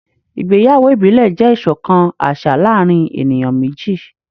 ìgbéyàwó ibile jẹ iṣọkan aṣa láàrin eniyan meji.